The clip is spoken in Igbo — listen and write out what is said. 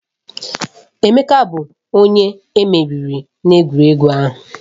Emeka bụ onye emeriri n'egwuregwu ahụ.